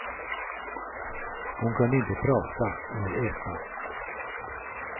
Hon kunde inte prata eller äta.